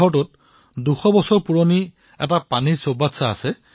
তাত ২০০ বছৰীয়া পুৰণি পানীৰ এক সংৰক্ষণ টেংক আছে